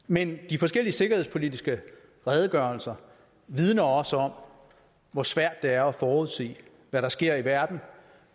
men de forskellige sikkerhedspolitiske redegørelser vidner også om hvor svært det er at forudse hvad der sker i verden